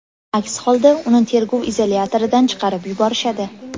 Aks holda uni tergov izolyatoridan chiqarib yuborishadi.